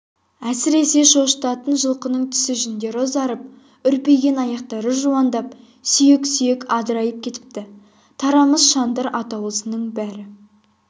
әсіресе шошытатын жылқының түсі жүндері ұзарып үрпиген аяқтары жуандап сүйек-сүйегі адырайып кетіпті тарамыс шандыр атаулысының бәрі